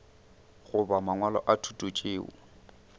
goba mangwalo a thuto tšeo